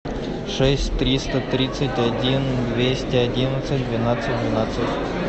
шесть триста тридцать один двести одиннадцать двенадцать двенадцать